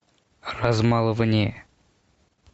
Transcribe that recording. размалывание